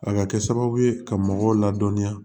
A ka kɛ sababu ye ka mɔgɔw ladɔnniya